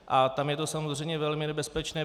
A tam je to samozřejmě velmi nebezpečné.